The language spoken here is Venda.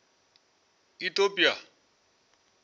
itopia